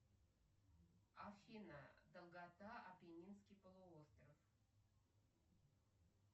афина долгота аппенинский полуостров